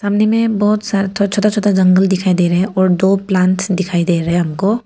सामने में बहोत बहुत सारा छोटा छोटा जंगल दिखाई दे रहे हैं और दो प्लांट्स दिखाई दे रहे हैं हमको।